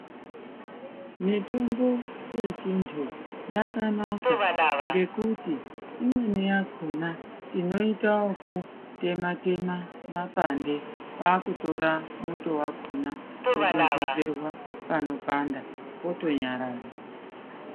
Mitombo ye chiantu yakanaka ngekuti imweni yakona tinoita yeku tema tema mapande kwakutora muto wakona odondedzerwa pano panda poto nyarara.